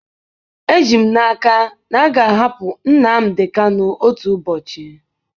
Eji m n'aka na a ga-ahapụ Nnamdi Kanu otu ụbọchị.